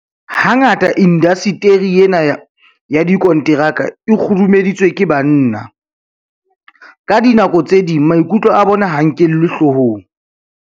Hangata indasteri ena ya dikonteraka e kgurumeditswe ke banna. Ka dinako tse ding maikutlo a bona ha a nkelwe hloohong.